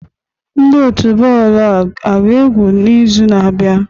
Ndị otu bọọlụ a ga-egwu n'izu na-abịa?